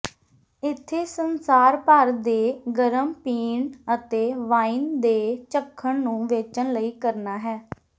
ਇੱਥੇ ਸੰਸਾਰ ਭਰ ਦੇ ਗਰਮ ਪੀਣ ਅਤੇ ਵਾਈਨ ਦੇ ਚੱਖਣ ਨੂੰ ਵੇਚਣ ਲਈ ਕਰਨਾ ਹੈ